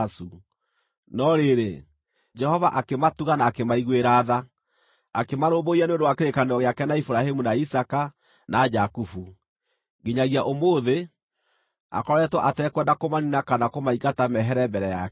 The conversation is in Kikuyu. No rĩrĩ, Jehova akĩmatuga na akĩmaiguĩra tha, akĩmarũmbũiya nĩ ũndũ wa kĩrĩkanĩro gĩake na Iburahĩmu, na Isaaka, na Jakubu. Nginyagia ũmũthĩ, akoretwo atekwenda kũmaniina kana kũmaingata mehere mbere yake.